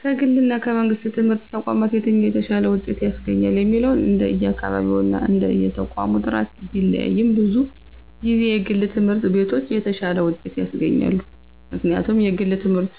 ከግልና ከመንግሥት ትምህርት ተቋማት የትኛው የተሻለ ውጤት ያስገኛል የሚለው እንደየአካባቢውና እንደየተቋሙ ጥራት ቢለያይም፣ ብዙ ጊዜ የግል ትምህርት ቤቶች የተሻለ ውጤት ያስገኛሉ። ምክንያቱም የግል ትምህርት